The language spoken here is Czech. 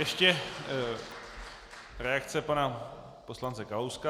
Ještě reakce pana poslance Kalouska.